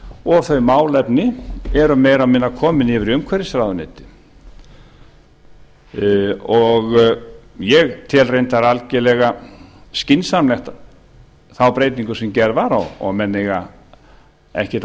og þau málefni eru meira og minna komin yfir í umhverfisráðuneytið ég tel reyndar algerlega skynsamlega þá breytingu sem gerð var og menn eiga og áttu